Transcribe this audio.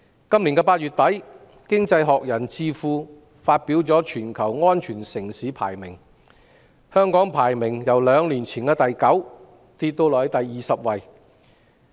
今年8月底，經濟學人智庫發表全球安全城市排名，香港的排名由兩年前的第九位下跌至第二十位。